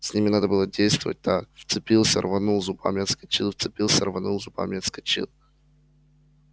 с ними надо было действовать так вцепился рванул зубами отскочил вцепился рванул зубами отскочил